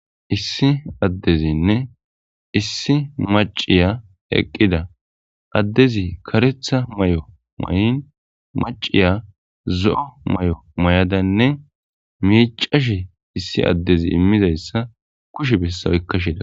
Issi addezinne issi maciya eqqida addezi karetha may7o may7in maciya zo7o may7o may7adanne miicashe issi addezi immizayssa kushe bessawoykka shida.